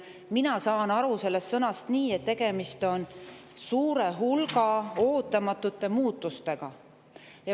Mina saan sellest sõnast nii aru, et tegemist on suure hulga ootamatute muutustega.